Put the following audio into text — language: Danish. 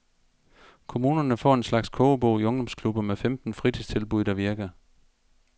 Kommunerne får en slags kogebog i ungdomsklubber med femten fritidstilbud, der virker.